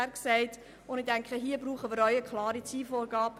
Um diesen Erfolg zu erzielen, brauchen wir eine klare Zielvorgabe.